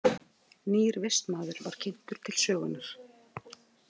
Nýr vistmaður var kynntur til sögunnar.